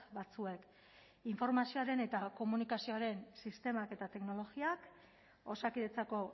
batzuek informazioaren eta komunikazioaren sistemak eta teknologiak osakidetzako